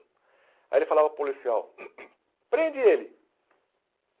Aí ele falava para o policial, prende ele!